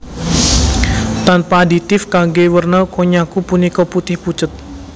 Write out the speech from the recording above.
Tanpa aditif kanggé werna konnyaku punika putih pucet